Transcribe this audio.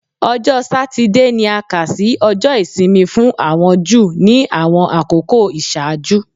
Ọjọ Satidee ni a kà si Ọjọ isimi fun awọn Ju ni awọn akoko iṣaaju